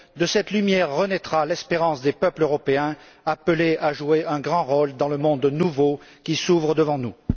De cette lumière renaîtra l'espérance des peuples européens, appelés à jouer un grand rôle dans le monde nouveau qui s'ouvre devant nous.